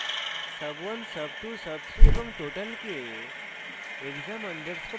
sub1 sub2 sub3 এবং total কে